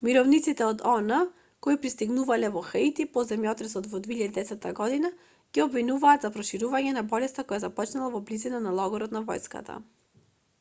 мировниците од он кои пристигнале во хаити по земјотресот во 2010 година ги обвинуваат за проширувањето на болеста која започнала во близина на логорот на војската